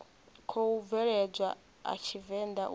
khou bveledzwa a tshivenḓa uri